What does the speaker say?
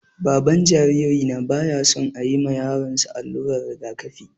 Baban jaririna baya son ayi ma yaron sa allurar rigakafi